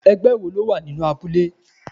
Ẹgbẹ́ wo lo wà nínú abúlé?